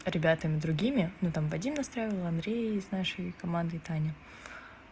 ребятами другими ну там вадим настраивал андрея из нашей команды и таня